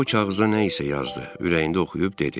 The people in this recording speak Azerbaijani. Sonra o kağıza nə isə yazdı, ürəyində oxuyub dedi: